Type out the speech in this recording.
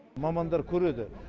мамандар көреді